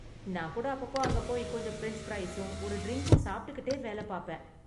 நான் கூட அப்பப்போ அங்கே போய் கொஞ்சம் ஃபிரெஞ்ச் ஃப்ரைஸும் ஒரு ட்ரிங்க்கும் சாப்பிட்டுகிட்டே வேல பாப்பேன்.